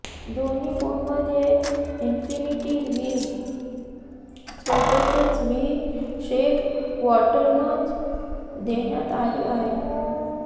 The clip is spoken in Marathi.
दोन्ही फोनमध्ये इनफिनिटी व्ही सोबतच व्ही शेप वॉटरनॉच देण्यात आली आहे